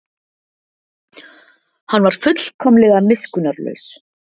Hann var fullkomlega miskunnarlaus.